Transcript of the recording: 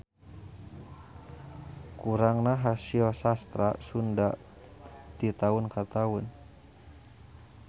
Kurangna hasil sastra sunda ti taun ka taun.